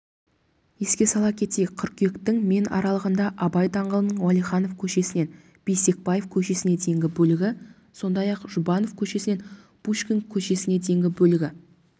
еске сала кетейік қыркүйектің мен аралығында абай даңғылының уәлиханов көшесінен бейсекбаев көшесіне дейінгі бөлігі сондай-ақ жұбанов көшесінен пушкин көшесіне дейінгі бөлігі